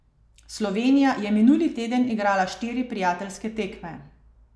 Slovenija je minuli teden igrala štiri prijateljske tekme.